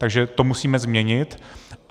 Takže to musíme změnit.